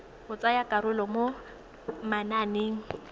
go tsaya karolo mo mananeng